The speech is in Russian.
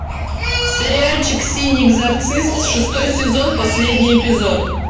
сериальчик синий экзорцист шестой сезон последний эпизод